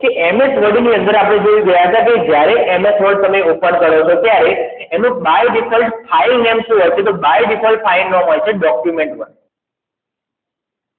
કે MS Word ની અંદર આપણે જોયો જોવા ગયા હતા કે જ્યારે MS Word જ open કરશે ત્યારે અનુ by default file name સુ હોય ચ તો અનુ by default file name તમને જોવા મડ્સે ડોકયુમેંટ માં